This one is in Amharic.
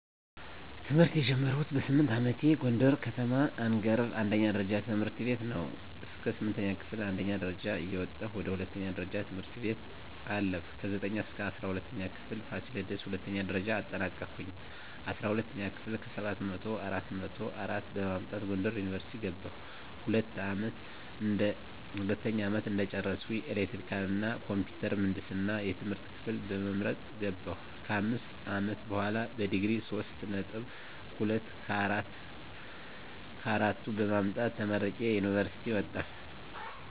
ትምህርት የጀመርኩት በስምንት አመቴ ጎንደር ከተማ አንገረብ አንደኛ ደረጃ ትምህርት ቤት ነው። እስከ ስምንተኛ ክፍል አንደኛ ደረጃ እየወጣሁ ወደ ሁለተኛ ደረጃ ትምህርት ቤት አለፍኩ። ከዘጠኝ እስከ እስራ ሁለተኛ ክፍል ፋሲለደስ ሁለተኛ ደረጃ አጠናቀኩኝ። አስራ ሁለተኛ ክፍል ከሰባት መቶው አራት መቶ አራት በማምጣት ጎንደር ዩኒቨርሲቲ ገባሁ። ሁለተኛ አመት እንደጨረስኩ ኤሌክትሪካል እና ኮምፒውተር ምህንድስና የትምህርት ክፍል በመምረጥ ገባሁ። ከአምስት አመት በሆላ በዲግሪ ሶስት ነጥብ ሁለት ከአራቱ በማምጣት ተመርቄ ከዩኒቨርሲቲ ወጣሁ።